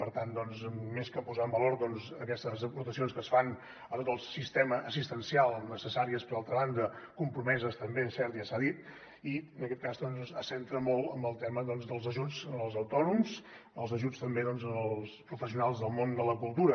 per tant més que posar en valor aquestes aportacions que es fan a tot el sistema assistencial necessàries per altra banda compromeses també és cert ja s’ha dit en aquest cas se centra molt en el tema dels ajuts als autònoms els ajuts també als professionals del món de la cultura